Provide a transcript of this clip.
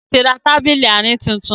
Temi tí rá Tábìlì Àárín títún